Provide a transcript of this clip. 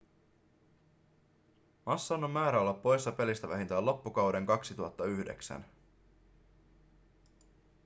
massan on määrä olla poissa pelistä vähintään loppukauden 2009